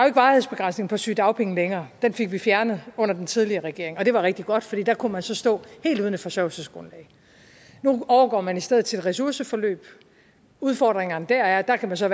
ikke varighedsbegrænsning på sygedagpenge længere den fik vi fjernet under den tidligere regering og det var rigtig godt for der kunne man så stå helt uden et forsørgelsesgrundlag nu overgår man i stedet til et ressourceforløb udfordringerne der er at man så